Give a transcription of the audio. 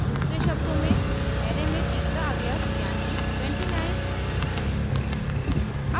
दूसरे शब्दों में array में तीसरा अवयव यानी 29